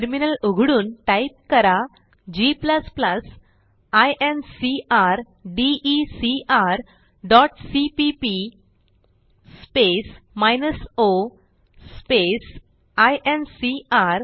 terminal उघडून type करा g incrdecrसीपीपी o आयएनसीआर